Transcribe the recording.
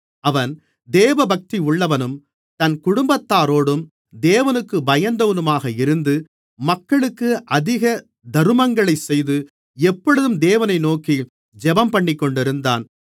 அவன் தேவபக்தியுள்ளவனும் தன் குடும்பத்தாரோடும் தேவனுக்குப் பயந்தவனுமாக இருந்து மக்களுக்கு அதிக தருமங்களைச் செய்து எப்பொழுதும் தேவனை நோக்கி ஜெபம்பண்ணிக்கொண்டிருந்தான்